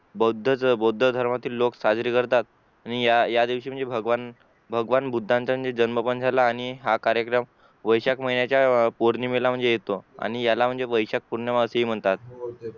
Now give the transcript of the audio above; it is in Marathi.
बौद्धधर्मातील लोक साजरी करतात आणि या दिवशी म्हणजे भगवान बुद्धांचा जन्म झाला आणि हा कार्यक्रम वैयशाक महिन्याच्या पौर्णिमेला म्हणजे येतो आणि याला म्हणजे वैशाख पुण्यवासी म्हणतात